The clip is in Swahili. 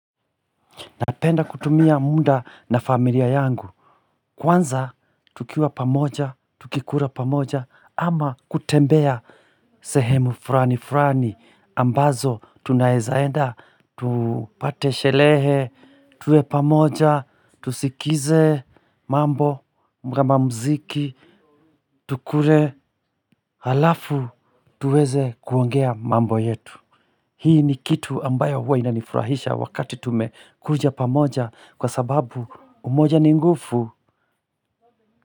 Napenda kutumia muda na familia yangu. Kwanza tukiwa pamoja, tukikula pamoja ama kutembea sehemu fulani fulani ambazo tunaweza enda, tupate sherehe, tuwe pamoja, tusikize mambo kama mziki tukule halafu tuweze kuongea mambo yetu. Hii ni kitu ambayo huwa inanifurahisha wakati tumekuja pamoja kwa sababu umoja ni nguvu.